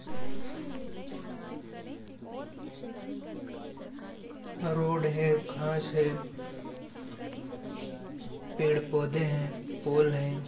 Road है घास है पेड़ पौधे हैं पोल है।